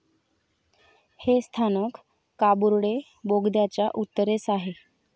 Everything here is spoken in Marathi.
हे स्थानक काबुर्डे बोगद्याच्या उत्तरेस आहे.